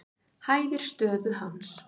Hæfir stöðu hans.